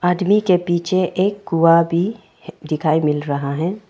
आदमी के पीछे एक कुआ भी दिखाई मिल रहा है।